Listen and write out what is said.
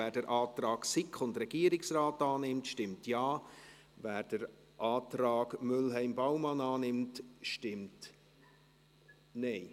Wer den Antrag SiK/Regierungsrat annimmt, stimmt Ja, wer den Antrag Mühlheim/Baumann annimmt, stimmt Nein.